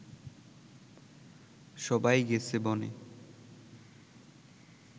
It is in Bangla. সবাই গেছে বনে